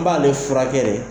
N b'ale furakɛ de